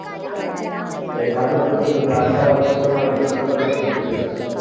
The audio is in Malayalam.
ഏകാധിപത്യത്തിലും രാജവാഴ്ചയിലും ആണ് അക്ബർ വിശ്വസിച്ചിരുന്നത്.